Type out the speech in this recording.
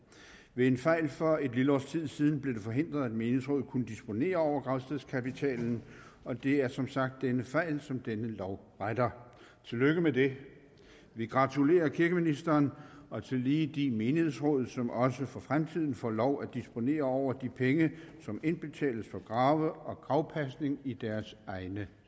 ved en fejl for et lille års tid siden blev det forhindret at menighedsrådene kunne disponere over gravstedskapitalen og det er som sagt den fejl som denne lov retter tillykke med det vi gratulerer kirkeministeren og tillige de menighedsråd som også for fremtiden får lov at disponere over de penge som indbetales for grave og gravpasning i deres egne